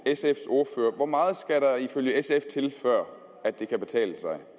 sfs ordfører hvor meget skal der ifølge sf til før det kan betale sig